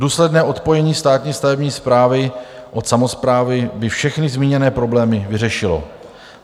Důsledné odpojení státní stavební správy od samosprávy by všechny zmíněné problémy vyřešilo.